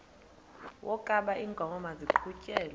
wokaba iinkomo maziqhutyelwe